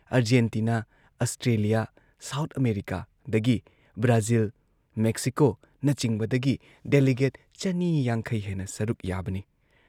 Argentina, Australia, South ꯑꯥꯃꯦꯔꯤꯀꯥꯗꯒꯤ Brazil, ꯃꯦꯛꯁꯤꯀꯣꯅꯆꯤꯡꯕꯗꯒꯤ delegate ꯆꯅꯤ ꯌꯥꯡꯈꯩ ꯍꯦꯟꯅ ꯁꯔꯨꯛ ꯌꯥꯕꯅꯤ ꯫